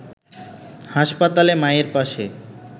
হাসপাতালে মায়ের পাশে